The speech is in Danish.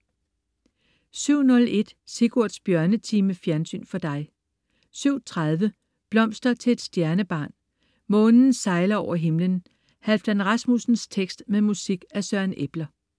07.01 Sigurds Bjørnetime. Fjernsyn for dig 07.30 Blomster til et stjernebarn. Månen sejler over himlen. Halfdan Rasmussens tekst med musik af Søren Eppler